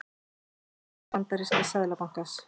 Höfuðstöðvar bandaríska seðlabankans.